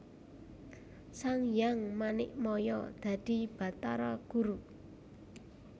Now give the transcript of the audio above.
Sanghyang Manikmaya dadi Batara Guru